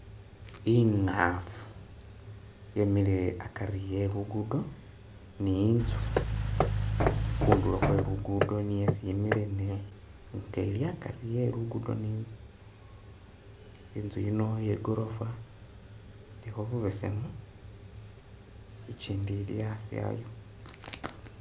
Ingafu yemile akari e'luguddo ni inzu khundulo khwe'luguddo niyo isi imile nga ili akari e'luguddo ni inzu, inzu yino iye gorofa ilikho bubesemu ikindi ili asi ayo